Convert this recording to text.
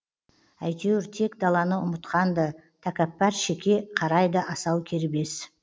әйтеуір тек даланы ұмытқан ды тәкәппар шеке қарайды асау кербез